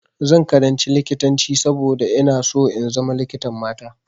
Zan karanci likitanci saboda ina so in zama likitan mata.